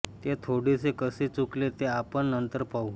ते थोडेसे कसे चुकले ते आपण नंतर पाहू